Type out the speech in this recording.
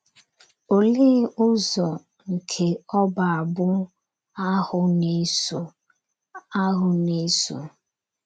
Olee ụzọ nke ọbụ abụ́ ahụ na-eso? ahụ na-eso?